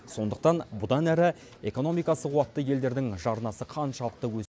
сондықтан бұдан әрі экономикасы қуатты елдердің жарнасы қаншалықты өс